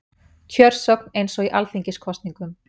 Kjörsókn eins og í alþingiskosningum